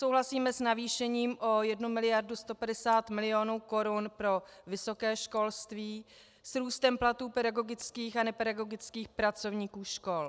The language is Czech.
Souhlasíme s navýšením o 1 miliardu 150 milionů korun pro vysoké školství, s růstem platů pedagogických a nepedagogických pracovníků škol.